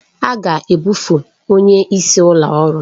A ga-ebufe onye isi ụlọ ọrụ.